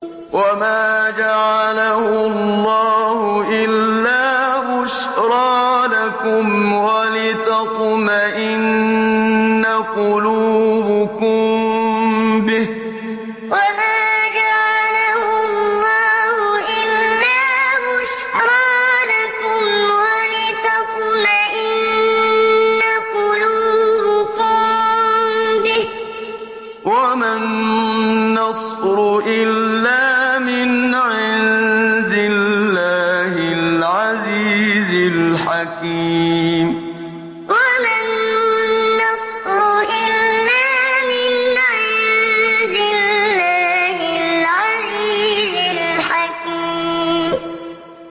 وَمَا جَعَلَهُ اللَّهُ إِلَّا بُشْرَىٰ لَكُمْ وَلِتَطْمَئِنَّ قُلُوبُكُم بِهِ ۗ وَمَا النَّصْرُ إِلَّا مِنْ عِندِ اللَّهِ الْعَزِيزِ الْحَكِيمِ وَمَا جَعَلَهُ اللَّهُ إِلَّا بُشْرَىٰ لَكُمْ وَلِتَطْمَئِنَّ قُلُوبُكُم بِهِ ۗ وَمَا النَّصْرُ إِلَّا مِنْ عِندِ اللَّهِ الْعَزِيزِ الْحَكِيمِ